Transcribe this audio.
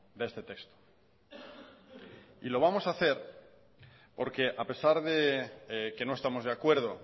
de este texto y lo vamos a hacer porque a pesar de que no estamos de acuerdo